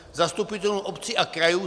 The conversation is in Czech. Zastupitelům obcí a krajů -